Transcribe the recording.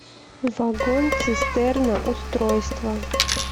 вагон цистерна устройство